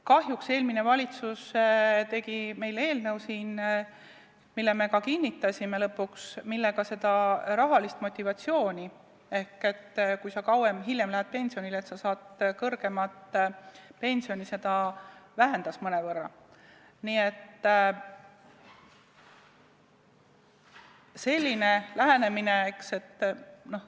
Kahjuks tegi eelmine valitsus eelnõu, mille me siin lõpuks ka kinnitasime ja mis seda rahalist motivatsiooni – ehk kui sa lähed hiljem pensionile, siis saad kõrgemat pensioni – mõnevõrra vähendas.